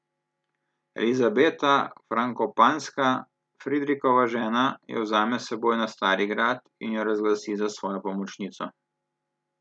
Elizabeta Frankopanska, Friderikova žena, jo vzame s seboj na Stari grad in jo razglasi za svojo pomočnico.